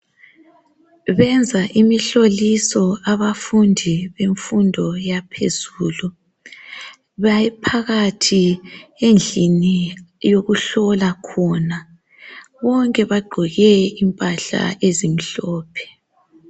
Benza imihloliso abafundi bemfundo yaphezulu baphakathi endlini yokuhlola khona bonke bagqoke impahla ezimhlophe.